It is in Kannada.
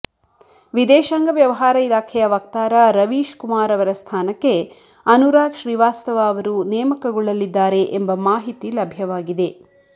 ವಿದೇಶಾಂಗ ವ್ಯವಹಾರ ಇಲಾಖೆಯ ವಕ್ತಾರ ರವೀಶ್ ಕುಮಾರ್ ಅವರ ಸ್ಥಾನಕ್ಕೆ ಅನುರಾಗ್ ಶ್ರೀವಾಸ್ತವ ಅವರು ನೇಮಕಗೊಳ್ಳಲಿದ್ದಾರೆ ಎಂಬ ಮಾಹಿತಿ ಲಭ್ಯವಾಗಿದೆ